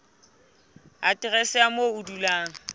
aterese ya moo o dulang